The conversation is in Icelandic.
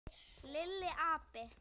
Lilli api!